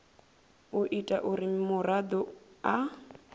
u ita uri muraḓo a